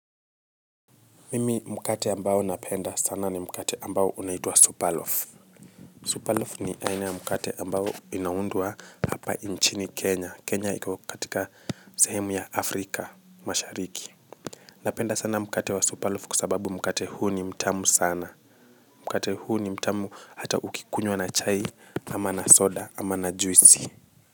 Mimi mkate ambao napenda sana ni mkate ambao unaitwa superloaf superloaf ni aina ya mkate ambao inaundwa hapa nchini kenya kenya iko katika sehemu ya afrika mashariki napenda sana mkate wa superloaf kwasababu mkate huu ni mtamu sana mkate huu ni mtamu hata ukikunywa na chai ama na soda ama na juisi.